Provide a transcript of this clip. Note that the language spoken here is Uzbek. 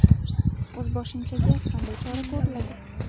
O‘zboshimchaga qanday chora ko‘riladi?